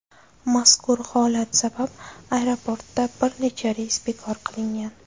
Mazkur holat sabab aeroportda bir nechta reys bekor qilingan.